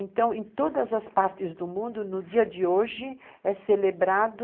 Então, em todas as partes do mundo, no dia de hoje, é celebrado